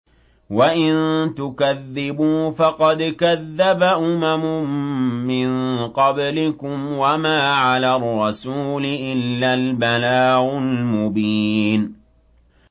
وَإِن تُكَذِّبُوا فَقَدْ كَذَّبَ أُمَمٌ مِّن قَبْلِكُمْ ۖ وَمَا عَلَى الرَّسُولِ إِلَّا الْبَلَاغُ الْمُبِينُ